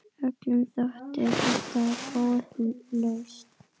Öllum þótti þetta góð lausn.